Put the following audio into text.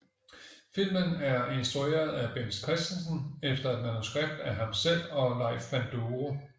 Filmen er instrueret af Bent Christensen efter et manuskript af ham selv og Leif Panduro